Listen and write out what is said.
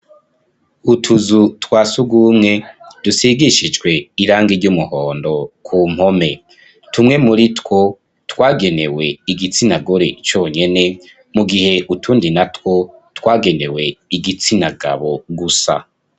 Utuzu twa surwumwe, dusigishijwe irangi ry'umuhondo ku mpome; tumwe muri two, twagenewe igitsina gore conyene, mu gihe utundi natwo, twagenewe igitsina gabo gusa.